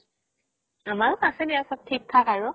আমাৰো আছে দিয়া চ'ব থিক থাক আৰু